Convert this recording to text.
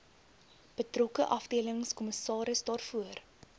betrokke afdelingskommissaris daarvoor